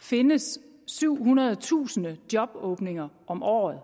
findes syvhundredetusind jobåbninger om året